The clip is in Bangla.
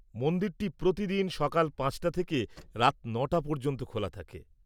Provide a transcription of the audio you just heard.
মন্দিরটি প্রতিদিন সকাল ৫টা থেকে রাত ৯টা পর্যন্ত খোলা থাকে।